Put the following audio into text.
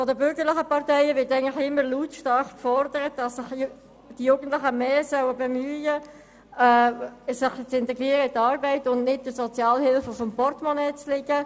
Seitens der bürgerlichen Parteien wird eigentlich immer lautstark gefordert, die Jugendlichen sollen sich stärker um ihre Integration in der Arbeitsweilt bemühen, anstatt der Sozialhilfe auf dem Portemonnaie zu liegen.